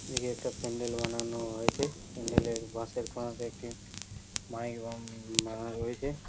এদিকে একটা প্যান্ডেল বানানো হয়েছে। প্যান্ডেল - এর বাঁশের কোনাতে একটি মাইক বাঁ বাধা রয়েছে।